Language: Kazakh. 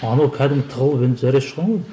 анау кәдімгі тығылып зәресі ұшқан ғой